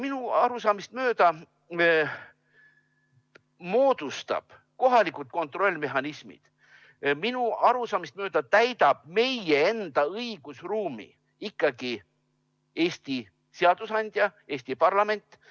Minu arusaamist mööda moodustab meie kohalikud kontrollimehhanismid ja täidab meie enda õigusruumi ikkagi Eesti seadusandja, Eesti parlament.